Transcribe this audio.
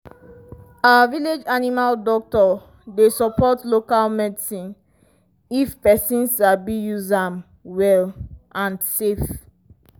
our village animal doctor dey support local medicine if person sabi use am well and safe.